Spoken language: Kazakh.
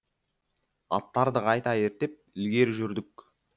аттарды қайта ерттеп ілгері жүрдік